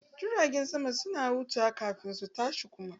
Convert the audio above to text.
Jiragen sama kan huta kafin su tashi kuma